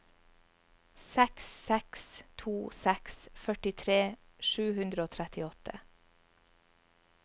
seks seks to seks førtitre sju hundre og trettiåtte